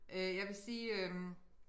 Øh jeg vil sige øh